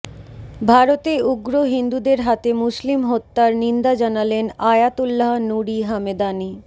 ভারতে উগ্র হিন্দুদের হাতে মুসলিম হত্যার নিন্দা জানালেন আয়াতুল্লাহ নুরি হামেদানি